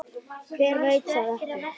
Hver veit það ekki?